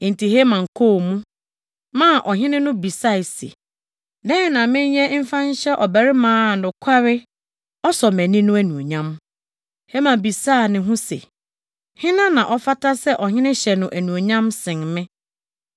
Enti Haman kɔɔ mu, maa ɔhene no bisae se, “Dɛn na menyɛ mfa nhyɛ ɔbarima a nokware, ɔsɔ mʼani no anuonyam?” Haman bisaa ne ho se, “Hena na ɔfata sɛ ɔhene hyɛ no anuonyam sen me?”